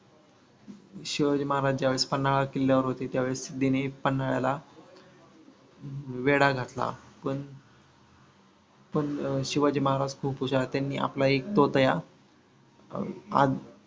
शिवाजी महाराज ज्यावेळेस पन्हाळा किल्ल्यावर होते त्यावेळेस सिद्धिने पन्हाळ्याला वेढा घातला पण पण शिवाजी महाराज खूप हुशार त्यांनी आपला एक तोतया अं